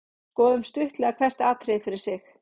Skoðum stuttlega hvert atriði fyrir sig.